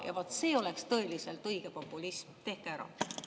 Vaat see oleks tõeliselt õige populism, tehke ära!